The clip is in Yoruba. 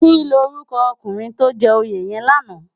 Kilórúkò ókúnrin tó jè óyé yèn làná?